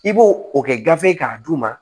I b'o o kɛ gafe k'a d'u ma